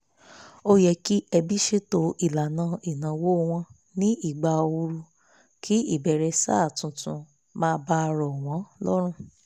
ó yẹ kí ẹbí sètò ìlànà ìnáwó wọn ní ìgbà òru kí ìbẹ̀rẹ̀ sáà tuntun má bàá rọ̀ wọ́n lọ́rùn